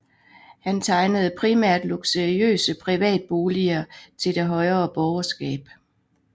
Han tegnede primært luksuriøse privatboliger til det højere borgerskab